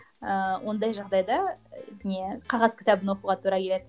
ыыы ондай жағдайды не қағаз кітабын оқуға тура келеді